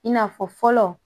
I n'a fɔ fɔlɔ